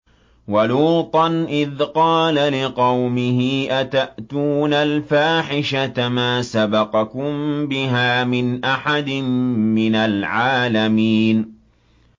وَلُوطًا إِذْ قَالَ لِقَوْمِهِ أَتَأْتُونَ الْفَاحِشَةَ مَا سَبَقَكُم بِهَا مِنْ أَحَدٍ مِّنَ الْعَالَمِينَ